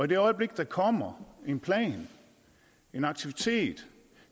det øjeblik der kommer en plan en aktivitet